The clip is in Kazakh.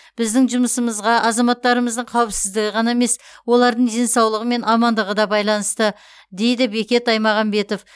біздің жұмысымызға азаматтарымыздың қауіпсіздігі ғана емес олардың денсаулығы мен амандығы да байланысты дейді бекет аймағамбетов